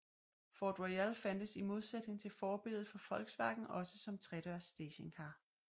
Ford Royale fandtes i modsætning til forbilledet fra Volkswagen også som tredørs stationcar